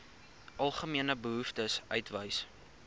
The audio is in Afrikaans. algemene behoeftes uitwys